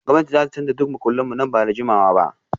Gwamnati za ta canza duk makullan mu nan ba da jimawa ba